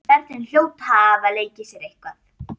Börnin hljóta að hafa leikið sér eitthvað.